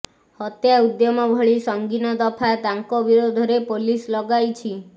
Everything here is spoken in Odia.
ହତ୍ୟା ଉଦ୍ୟମ ଭଳି ସଂଗୀନ ଦଫା ତାଙ୍କ ବିରୋଧରେ ପୋଲିସ ଲଗାଇଛି